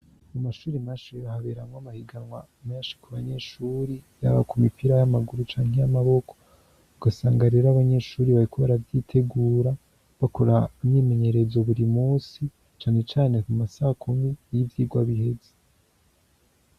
Mu mashuri mashero haberamwo mahiganwa menshi kubanyeshuri yaba ku mipira y'amaguru canke y'amaboko, ugasanga rero Abanyeshuri bariko ba aravyitegura bakora myimenyerezo buri musi canecane ku masaha ya saa kumi y'ivyirwa biheze.